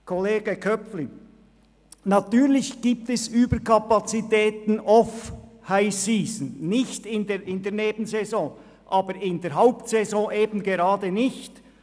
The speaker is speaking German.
Zu Kollege Köpfli: Natürlich gibt es Überkapazität in der Nebensaison, aber in der Hauptsaison eben gerade nicht.